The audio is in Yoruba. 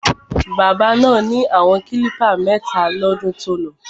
Bábà náà ni àwọn klípà mẹ́ta lọ́dún tolọ.